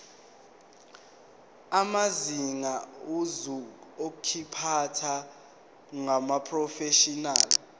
amazinga okuziphatha kumaprofeshinali